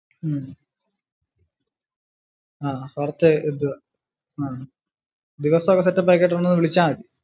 ഉം ആഹ് കുറച്ചേ ഇത് ദിവസം ഒക്കെ set ആക്കിയിട്ടു എന്നെ ഒന്ന് വിളിച്ചാ മതി